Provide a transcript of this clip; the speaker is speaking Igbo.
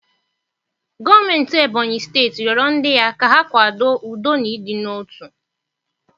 Gọọmentị Ebony steeti rịọrọ ndị ya ka ha kwado udo na ịdị n'otu